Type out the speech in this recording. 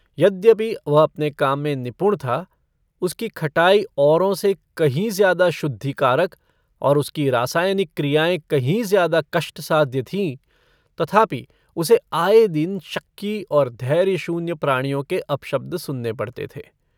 यद्यपि वह अपने काम में निपुण था उसकी खटाई औरों से कहीं ज्यादा शुद्धिकारक और उसकी रासायनिक क्रियाएँ कहीं ज्यादा कष्टसाध्य थीं तथापि उसे आये दिन शक्की और धैर्यशून्य प्राणियों के अपशब्द सुनने पड़ते थे।